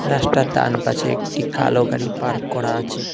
গাছটার ডান পাশে একটি কালো গাড়ি পার্ক করা আছে।